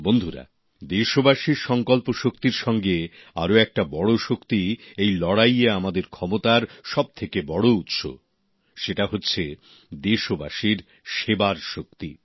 বন্ধুরা দেশবাসীর সংকল্পশক্তির সঙ্গে আর একটা বড় শক্তি এই লড়াইয়ে আমাদের ক্ষমতার সব থেকে বড় উৎস౼ সেটা হল দেশবাসীর সেবার শক্তি